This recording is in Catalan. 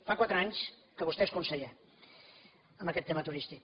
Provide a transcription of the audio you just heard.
fa quatre anys que vostè és conseller en aquest tema turístic